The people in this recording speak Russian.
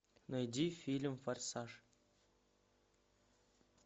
найди фильм форсаж